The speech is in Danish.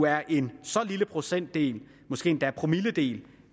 er en så lille procentdel måske endda promilledel